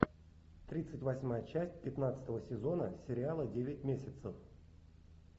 тридцать восьмая часть пятнадцатого сезона сериала девять месяцев